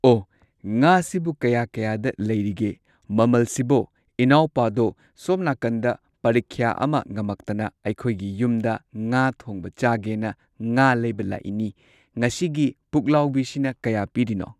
ꯑꯣ ꯉꯥꯁꯤꯕꯨ ꯀꯌꯥ ꯀꯌꯥꯗ ꯂꯩꯔꯤꯒꯦ ꯃꯃꯜꯁꯤꯕꯣ ꯏꯅꯥꯎꯄꯥꯗꯣ ꯁꯣꯝ ꯅꯥꯀꯟꯗ ꯄꯔꯤꯈ꯭ꯌꯥ ꯑꯃ ꯉꯝꯃꯛꯇꯅ ꯑꯩꯈꯣꯏꯒꯤ ꯌꯨꯝꯗ ꯉꯥ ꯊꯣꯡꯕ ꯆꯥꯒꯦꯅ ꯉꯥ ꯂꯩꯕ ꯂꯥꯛꯏꯅꯤ꯫ ꯉꯁꯤꯒꯤ ꯄꯨꯛꯂꯥꯎꯕꯤꯁꯤꯅ ꯀꯌꯥ ꯄꯤꯔꯤꯅꯣ꯫